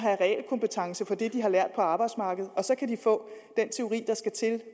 det de har lært på arbejdsmarkedet og så kunne de få den teori der skal til